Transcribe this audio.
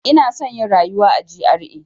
Ina son yin rayuwa a GRA.